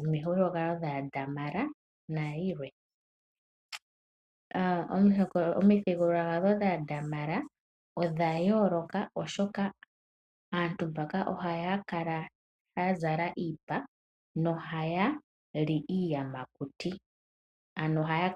omidhigululwakalo dhaaDamara nayilwe. Omuthigululwakalo dhaaDamara odha yooloka oshoka aantu mbano ohaya kala yazala iipa nohayali iiyamakuti.